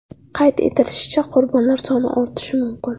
Qayd etilishicha, qurbonlar soni ortishi mumkin.